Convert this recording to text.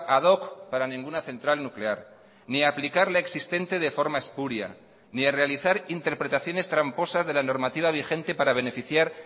ad hoc para ninguna central nuclear ni aplicar la existente de forma espuria ni a realizar interpretaciones tramposas de la normativa vigente para beneficiar